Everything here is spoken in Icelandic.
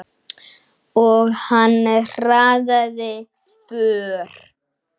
Og hann hraðaði för.